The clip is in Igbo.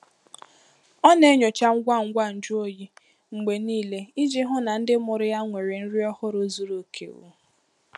Ọ na-enyocha ngwa ngwa nju oyi mgbe niile iji hụ na ndị mụrụ ya nwere nri ọhụrụ zuru oke. um